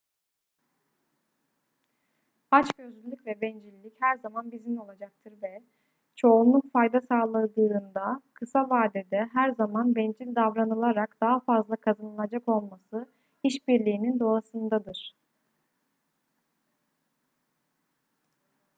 açgözlülük ve bencillik her zaman bizimle olacaktır ve çoğunluk fayda sağladığında kısa vadede her zaman bencil davranılarak daha fazla kazanılacak olması işbirliğinin doğasındadır